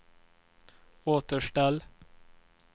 återställ